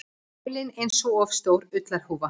Heilinn einsog of stór ullarhúfa.